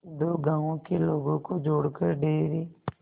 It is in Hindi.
दो गांवों के लोगों को जोड़कर डेयरी